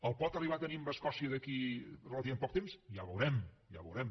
el pot arribar a tenir amb escòcia d’aquí relativament poc temps ja ho veurem ja ho veurem